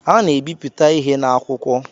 A na-ebipụta ihe n’akwụkwọ